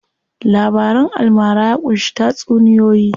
Labaran almara ya ƙunshi tatsuniyoyi.